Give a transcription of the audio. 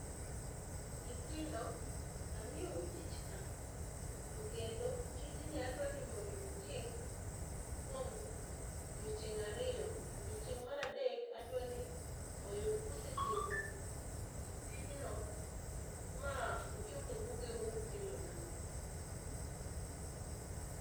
Nyithnido amiyo u tich ka to kendo tijni adwa ni mondo utim kuom odiechienge ariyo odiechieng mar adek adwa ni oyud ka usetieko tijno ma uchoko buge u ma ukelo na.